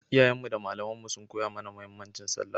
Iyayenmu da malamanmu sun koya mana muhimmancin sallah